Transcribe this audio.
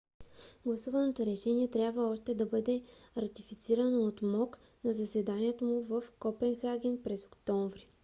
гласуваното решение трябва още да бъде ратифицирано от мок на заседанието му в копенхаген през октомври